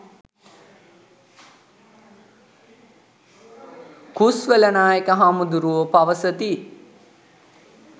කුස්වල නායක හාමුදුරුවෝ පවසති.